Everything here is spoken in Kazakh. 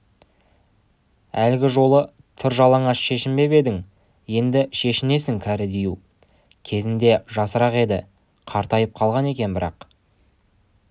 жолы тыр жалаңаш шешінбеп едің енді шешінесің кәрі дию кезде жасырақ еді қартайып қалған екен бірақ